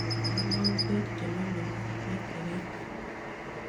Kang'ool beek chelolong ak beek chekaaitit